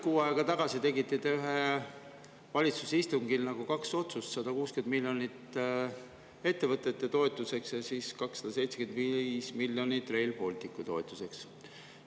Kuu aega tagasi tegite te ühel valitsuse istungil kaks otsust: 160 miljonit ettevõtete toetuseks ja 275 miljonit Rail Balticu toetuseks.